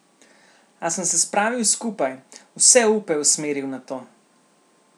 A sem se spravil skupaj, vse upe usmeril na to.